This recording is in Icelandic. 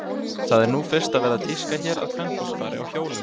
Það er nú fyrst að verða tíska hér að kvenfólk fari á hjólum.